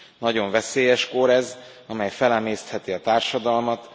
Nagyon veszélyes kór ez, amely felemésztheti a társadalmat.